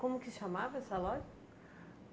Como que chamava essa loja?